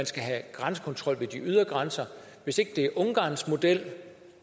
skal have grænsekontrol ved de ydre grænser hvis ikke det er ungarns model